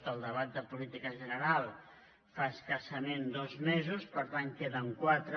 del debat de política general fa escassament dos mesos per tant en queden quatre